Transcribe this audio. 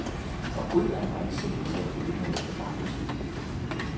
Forbryderen var ikke sen til at udnytte blankochecken.